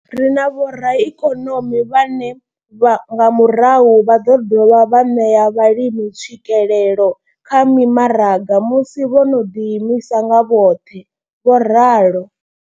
Ri na vhoraikonomi vhane nga murahu vha ḓo dovha vha ṋea vhalimi tswikelelo kha mimaraga musi vho no ḓi imisa nga vhoṱhe. vho ralo.